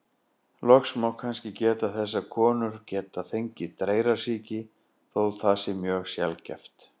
Loks má kannski geta þess að konur geta fengið dreyrasýki, þótt það sé mjög sjaldgæft.